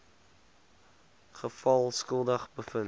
geval skuldig bevind